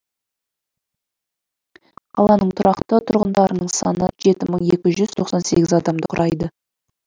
қаланың тұрақты тұрғындарының саны жеті мың екі жүз тоқсан сегіз адамды құрайды